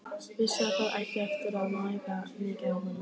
Vissi að það átti eftir að mæða mikið á honum.